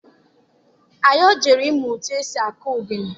Anyọ jere ịmụ etu esi akụ ogene.